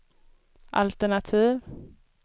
altenativ